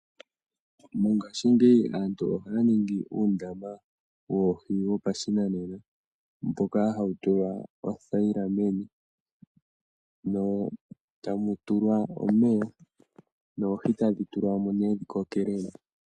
Mongashingeyi aantu ohaya ningi uundama woohi wopashinanena mboka hawu tulwa oothayila meni etamu tulwa omeya noohi tadhi tulwamo nee dhi kokele mo.